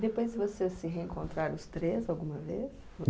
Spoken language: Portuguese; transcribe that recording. Depois vocês se reencontraram os três alguma vez?